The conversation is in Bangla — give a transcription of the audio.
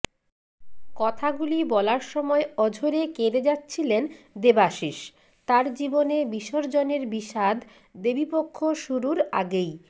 কথাগুলি বলার সময় অঝোরে কেঁদে যাচ্ছিলেন দেবাশিস তাঁর জীবনে বিসর্জনের বিষাদ দেবীপক্ষ শুরুর আগেই